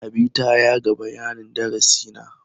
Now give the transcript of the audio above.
Habi ta yaga bayanin darasi na.